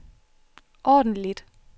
ordentligt